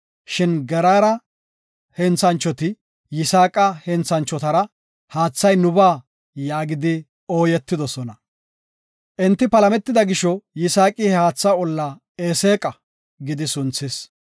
Shin Geraara henthanchoti Yisaaqa henthanchotara, “Haathay nubaa” yaagidi ooyetidosona. Enti palametida gisho, Yisaaqi he haatha olla “Eseeqa” gidi sunthis.